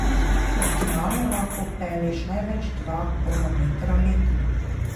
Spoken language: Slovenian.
Optimalno lahko odpelješ največ dva kronometra letno.